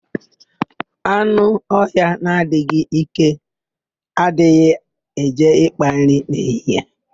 Anụ ọhịa na-adịghị íké, adịghị eje ị́kpā nri n'ehihie.